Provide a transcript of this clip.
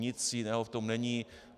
Nic jiného v tom není.